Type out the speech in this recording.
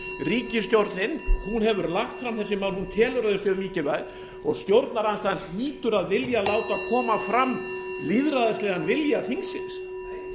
ríkisstjórnin hefur lagt fram þessi mál hún telur að þau séu mikilvæg og stjórnarandstaðan hlýtur að vilja láta koma fram lýðræðislegan vilja þingsins